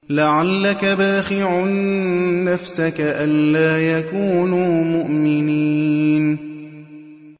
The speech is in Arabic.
لَعَلَّكَ بَاخِعٌ نَّفْسَكَ أَلَّا يَكُونُوا مُؤْمِنِينَ